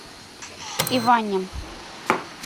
иване